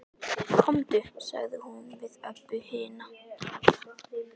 Komdu, sagði hún við Öbbu hina.